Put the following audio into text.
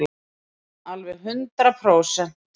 Alveg hundrað prósent.